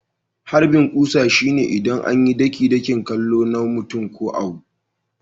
Harbin kusa shine idan an yi ɗaki-dakin kallo na mutum ko abu.